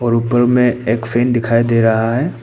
ऊपर में एक फैन दिखाई दे रहा है।